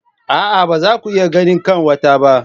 A'a ba za ku iya ganin kanwata ba.